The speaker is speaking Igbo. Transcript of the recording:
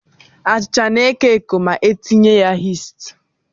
Bredị na-eko eko ma Ị tinye ya yisti.